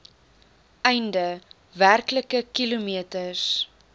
einde werklike kilometers